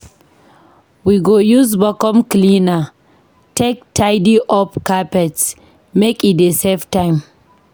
We go use vacuum cleaner take tidy up carpet, make e dey save time.